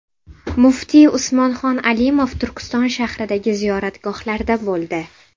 Muftiy Usmonxon Alimov Turkiston shahridagi ziyoratgohlarda bo‘ldi.